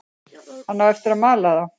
Hann á eftir að mala þá.